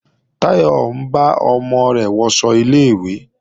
Táyọ̀ ń bá ọmọ rẹ̀ wọṣọ ilé-ìwé